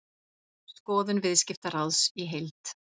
Skoðun Viðskiptaráðs í heild